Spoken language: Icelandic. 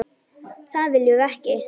Það viljum við ekki.